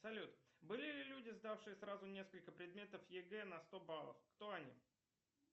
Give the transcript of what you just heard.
салют были ли люди сдавшие сразу несколько предметов егэ на сто баллов кто они